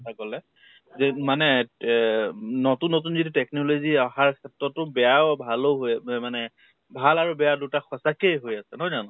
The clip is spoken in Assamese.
কথা কʼলে । মানে এ তে নতুন নতুন technology আহাৰ ক্ষেত্ৰতো বেয়াও ভালো হয় বা মানে বেয়া আৰু ভাল দুইটা সচাঁকেই হৈ আছে, নহয় জানো ?